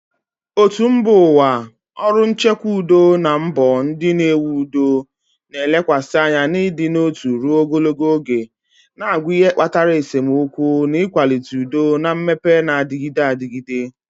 Òtù mba ụwa, ọrụ nchekwa udo na mbọ ndị na-ewu udo na-elekwasị anya n'ịdị n'otu ruo ogologo oge, na-agwa ihe kpatara esemokwu, na ịkwalite udo na mmepe na-adịgide adịgide.